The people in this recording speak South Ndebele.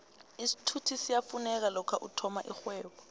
isithuthi siyafuneka lokha uthoma irhwebo